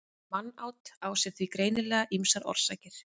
mannát á sér því greinilega ýmsar orsakir